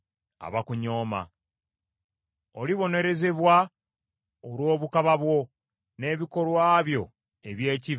Olibonerezebwa olw’obukaba bwo n’ebikolwa byo eby’ekivve, bw’ayogera Mukama Katonda.